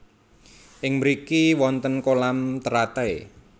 Ing mriki wonten kolam teratai